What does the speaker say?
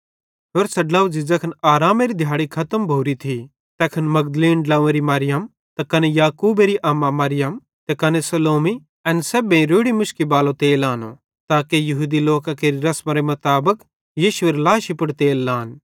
होरसां ड्लोझ़ी ज़ैखन आरामेरी दिहाड़ी खतम भोरी थी त तैखन मगदलीन ड्लंव्वेरी मरियम त कने याकूबेरी अम्मा मरियम त कने सलोमी एन सेब्भेईं रोड़ी मुशकी बालो तेल आनो ताके यहूदी लोकां केरि रसमेरे मुताबिक यीशुएरी लाशी पुड़ तेल लान